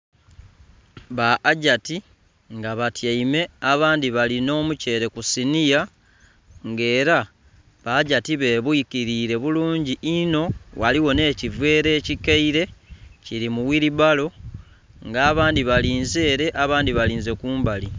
Ba Hajati nga batyaime abandhi balina omutyeere ku siniya, nga era ba Hajati bebwikilire bulungi inho. Ghaligho nh'ekiveera ekikaile kili mu wilibalo. Nga abandhi balinze ere, abandhi balinze kumbali.